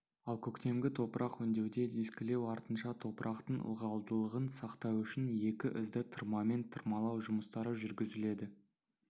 ал көктемгі топырақ өңдеуде дискілеу артынша топырақтың ылғалдылығын сақтау үшін екі ізді тырмамен тырмалау жұмыстары жүргізіледі